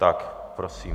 Tak, prosím.